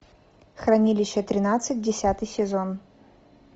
хранилище тринадцать десятый сезон